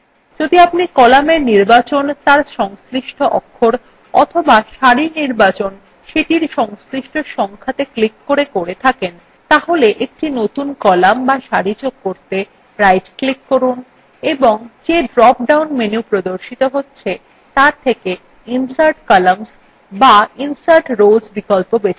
যদি আপনি columnএর নির্বাচন তার সংশ্লিষ্ট অক্ষরa অথবা সারির নির্বাচন সেটির সংশ্লিষ্ট সংখ্যাত়ে click করে করে থাকেন তাহলে একটি নতুন column বা সারি যোগ করতে right click করুন এবং যে drop down menu প্রদর্শিত হচ্ছে তার থেকে insert columns বা insert rows বিকল্প বেছে নিন